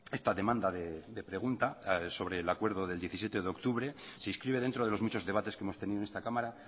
esta demanda de pregunta sobre el acuerdo del diecisiete de octubre se inscribe dentro de los muchos debates que hemos tenido en esta cámara